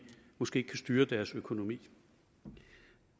måske ikke kan styre deres økonomi